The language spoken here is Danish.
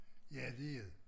Ja dét er det